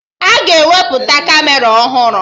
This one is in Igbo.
Aga ewepụta Kamera ọhụrụ